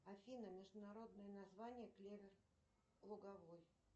афина международное название клевер луговой